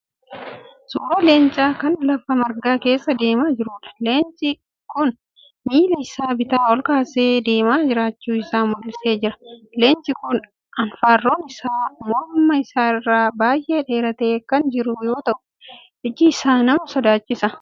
Suuraa leencaa kan lafa margaa keessa deemaa jiruudha. Leeci kun miila isaa bitaa ol kaasee deemaa jiraachuu isaa mul'isee jira. Leenci kun anfaarroon isaa morma isaa irraa baay'ee dheeratee kan jiru yoo ta'u iji isaa nama sodaachisa.